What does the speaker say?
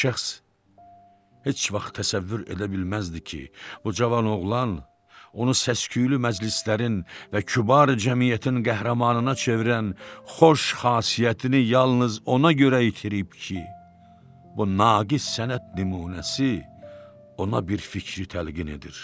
O şəxs heç vaxt təsəvvür edə bilməzdi ki, bu cavan oğlan onu səs-küylü məclislərin və kübar cəmiyyətin qəhrəmanına çevirən xoş xasiyyətini yalnız ona görə itirib ki, bu naqis sənət nümunəsi ona bir fikri təlqin edir.